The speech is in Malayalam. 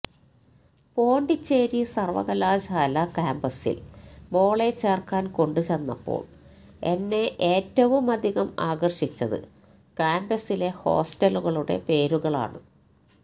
പോണ്ടിച്ചേരി സർവ്വകലാശാലാ കാംപസിൽ മോളെ ചേർക്കാൻ കൊണ്ടുചെന്നപ്പോൾ എന്നെ ഏറ്റവുമധികം ആകർഷിച്ചത് കാംപസിലെ ഹോസ്റ്റലുകളുടെ പേരുകളാണ്